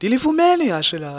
ndilifumene ihashe lam